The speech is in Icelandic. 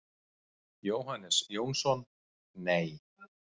Jóhannes Jónsson: Nei.